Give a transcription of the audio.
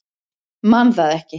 Man það ekki.